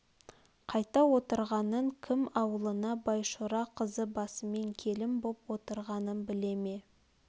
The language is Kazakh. қайда отырғанын кім аулына байшора қызы басымен келін боп отырғанын біле ме